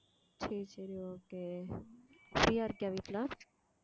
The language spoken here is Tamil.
சரி, சரி okay free ஆ இருக்கியா வீட்டில